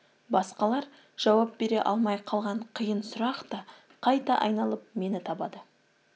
басқалар жауап бере алмай қалған қиын сұрақ та қайта айналып мені табады